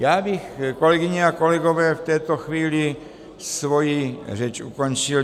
Já bych, kolegyně a kolegové, v tuto chvíli svoji řeč ukončil.